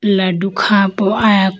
laddo kha po aya ko.